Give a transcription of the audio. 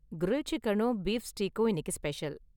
grill சிக்கனும் beef ஸ்டீக்கும் இன்னிக்கு ஸ்பெஷல்